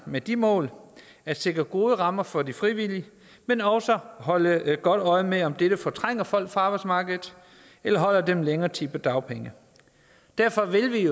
med det mål at sikre gode rammer for de frivillige men også at holde godt øje med om dette fortrænger folk fra arbejdsmarkedet eller holder dem længere tid på dagpenge derfor vil vi